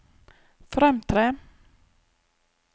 fremtre